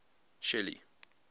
shelly